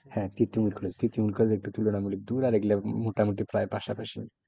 হ্যাঁ Titumir college Titumir college একটু তুলনামূলক দূর আর এগুলো মোটামুটি প্রায় পাশাপাশি।